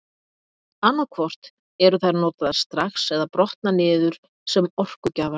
Annað hvort eru þær notaðar strax eða brotna niður sem orkugjafar.